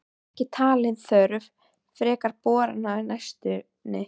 Ekki talin þörf frekari borana á næstunni.